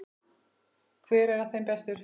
Hver af þeim er bestur?